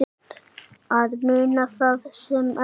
Að muna það sem þarf